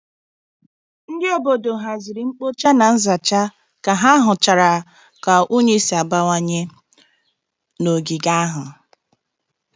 Ndị obodo haziri mkpocha na nzacha ka ha hụchara ka unyi si abawanye n'ogige ahụ.